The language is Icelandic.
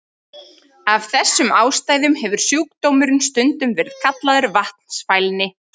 Af þessum ástæðum hefur sjúkdómurinn stundum verið kallaður vatnsfælni.